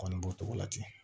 Kɔni b'o cogo la ten